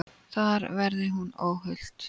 Þar verði hún óhult.